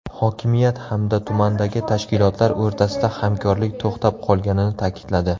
Hokimiyat hamda tumandagi tashkilotlar o‘rtasida hamkorlik to‘xtab qolganini ta’kidladi.